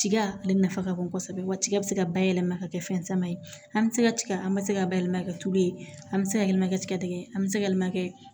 Tiga ale nafa ka bon kosɛbɛ wa tiga bɛ se ka bayɛlɛma ka kɛ fɛn sama ye an bɛ se ka tiga an bɛ se ka bayɛlɛma ka kɛ tulu ye an bɛ se ka yɛlɛma kɛ tigɛdɛgɛ ye an bɛ se ka makɛ